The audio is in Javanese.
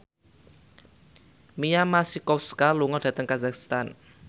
Mia Masikowska lunga dhateng kazakhstan